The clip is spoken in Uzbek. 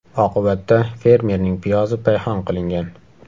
Oqibatda fermerning piyozi payhon qilingan.